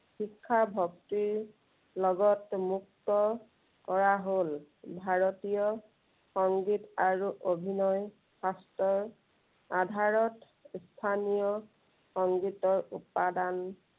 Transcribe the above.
শিক্ষা ভক্তিৰ লগত মুক্ত কৰা হল। ভাৰতীয় সংগীত আৰু অভিনয় শাস্ত্ৰৰ, আধাৰত স্থানীয় সংগীতৰ উপাদান